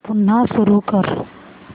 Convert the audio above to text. पुन्हा सुरू कर